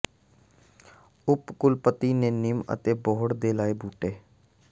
ਉਪ ਕੁਲਪਤੀ ਨੇ ਨਿੰਮ ਅਤੇ ਬੋਹੜ ਦੇ ਲਾਏ ਬੂਟੇ